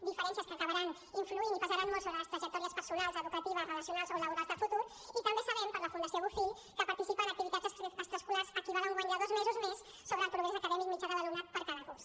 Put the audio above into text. diferències que acabaran influint i pesaran molt sobre les trajectòries personals educatives relacionals o laborals de futur i també sabem per la fundació bofill que participar en activitats extraescolars equival a un guany de dos mesos més sobre el progrés acadèmic mitjà de l’alumnat per a cada curs